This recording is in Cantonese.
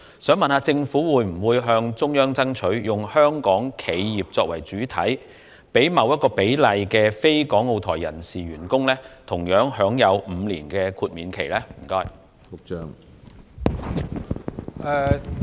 請問政府會否向中央爭取，以香港企業為主體，讓一定比例的非港澳台員工同樣享有5年豁免期？